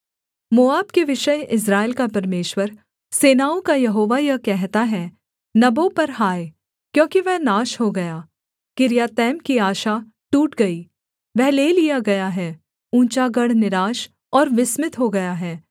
मोआब के विषय इस्राएल का परमेश्वर सेनाओं का यहोवा यह कहता है नबो पर हाय क्योंकि वह नाश हो गया किर्यातैम की आशा टूट गई वह ले लिया गया है ऊँचा गढ़ निराश और विस्मित हो गया है